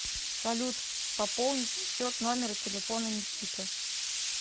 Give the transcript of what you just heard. салют пополнить счет номера телефона никита